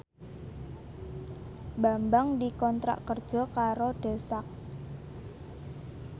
Bambang dikontrak kerja karo The Sak